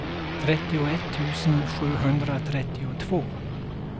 trettioett tusen sjuhundratrettiotvå